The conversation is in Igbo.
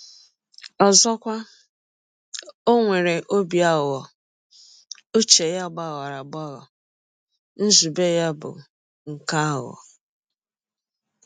Ọzọkwa, ọ nwere ọbi aghụghọ — ụche ya dị “ aghụghọ, ” nzụbe ya bụ “ nke aghụghọ. ”